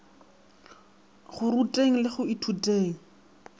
go ruteng le go ithuteng